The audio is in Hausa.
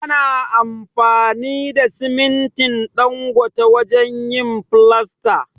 Ana amfani da simintin Dangote wajen yin filasta.